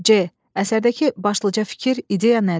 C. Əsərdəki başlıca fikir, ideya nədir?